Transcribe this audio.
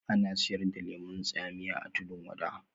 Ana siyar da lemun tsamiya a tudun wada